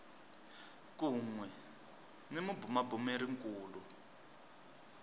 kun we ni mabumabumeri kulu